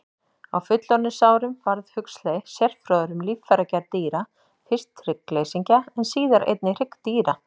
Á fullorðinsárum varð Huxley sérfróður um líffæragerð dýra, fyrst hryggleysingja en síðar einnig hryggdýra.